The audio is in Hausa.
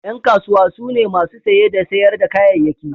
Yan kasuwa su ne masu saye da sayar da kayayyaki.